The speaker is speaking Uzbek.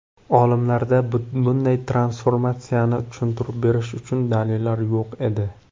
Olimlarda bunday transformatsiyani tushuntirib berish uchun dalillar yo‘q edi.